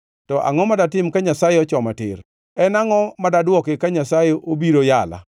to angʼo ma datim ka Nyasaye ochoma tir? En angʼo ma dadwoki ka Nyasaye obiro yala?